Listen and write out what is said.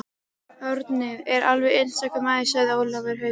Árni er alveg einstakur maður segir Ólafur Haukur.